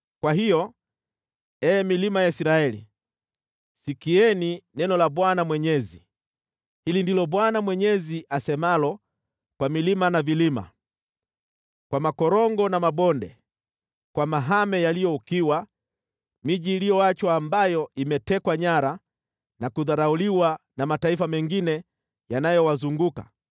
kwa hiyo, ee milima ya Israeli, sikieni neno la Bwana Mwenyezi: Hili ndilo Bwana Mwenyezi asemalo kwa milima na vilima, kwa makorongo na mabonde, kwa mahame yaliyo ukiwa, miji iliyoachwa ambayo imetekwa nyara na kudharauliwa na mataifa mengine yanayowazunguka,